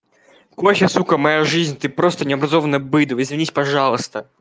кофе сука моя жизнь ты просто необразованное быдло извинись пожалуйста